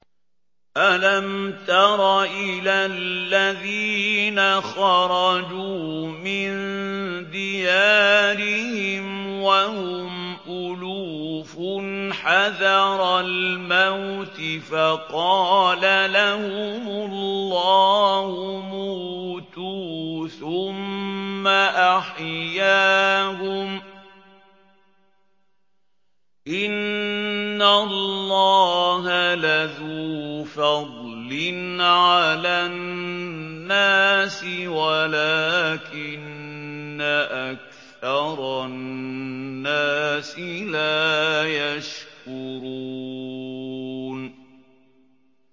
۞ أَلَمْ تَرَ إِلَى الَّذِينَ خَرَجُوا مِن دِيَارِهِمْ وَهُمْ أُلُوفٌ حَذَرَ الْمَوْتِ فَقَالَ لَهُمُ اللَّهُ مُوتُوا ثُمَّ أَحْيَاهُمْ ۚ إِنَّ اللَّهَ لَذُو فَضْلٍ عَلَى النَّاسِ وَلَٰكِنَّ أَكْثَرَ النَّاسِ لَا يَشْكُرُونَ